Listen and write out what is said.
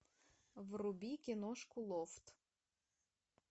вруби киношку лофт